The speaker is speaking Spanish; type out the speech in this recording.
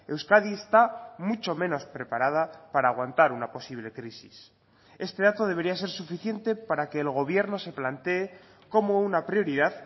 euskadi está mucho menos preparada para aguantar una posible crisis este dato debería ser suficiente para que el gobierno se plantee como una prioridad